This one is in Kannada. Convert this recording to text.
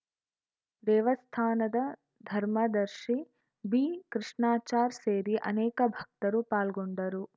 ದೇವಸ್ಥಾನದ ಧರ್ಮದರ್ಶಿ ಬಿಕೃಷ್ಣಾಚಾರ್‌ ಸೇರಿ ಅನೇಕ ಭಕ್ತರು ಪಾಲ್ಗೊಂಡರು